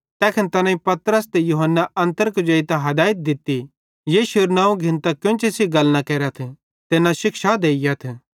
तैखन तैनेईं पतरस ते यूहन्ना अन्तर कुजेइतां हदैयत दित्ती यीशुएरू नवं घिन्तां केन्ची सेइं गल न केरथ ते न शिक्षा देइयथ